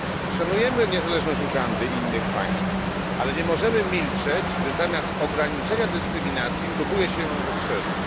Szanujemy niezależność Ugandy i innych państw, ale nie możemy milczeć, gdy zamiast ograniczenia dyskryminacji próbuje się ją rozszerzyć.